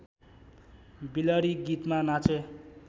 बिलरी गीतमा नाचे